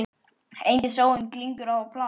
Engin sóun, glingur og plast.